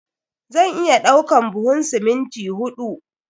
Zan iya ɗaukan duhun siminti huɗu.